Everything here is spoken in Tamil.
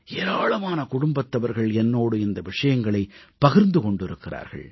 ஏராளமான குடும்பத்தவர்கள் என்னோடு இந்த விஷயங்களைப் பகிர்ந்து கொண்டிருக்கிறார்கள்